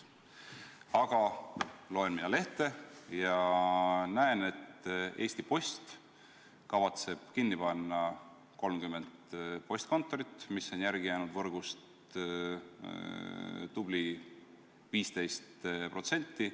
Aga loen mina lehte ja näen, et Eesti Post kavatseb kinni panna 30 postkontorit, mis on järele jäänud võrgust tubli 15%.